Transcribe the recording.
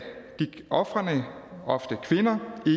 ofrene ofte kvinder